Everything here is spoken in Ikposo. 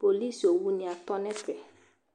Polisi owunɩ atɔ nʋ ɛfɛ